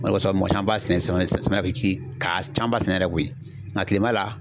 O de kosɔn mɔgɔ caman b'a sɛnɛ samiya samiya fɛ k'i ka camanba sɛnɛ yɛrɛ koyi nga kilema la